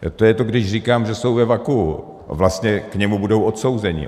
To je to, když říkám, že jsou ve vakuu, vlastně k němu budou odsouzeni.